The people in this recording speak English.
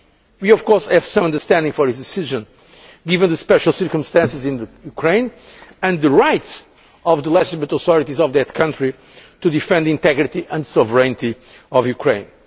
We, of course, have some understanding for his decision, given the special circumstances in Ukraine, and the right of the legitimate authorities of that country to defend the integrity and sovereignty of Ukraine.